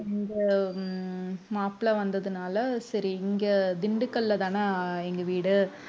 அந்த உம் மாப்பிளை வந்ததுனால சரி இங்க திண்டுக்கல்லதானே எங்க வீடு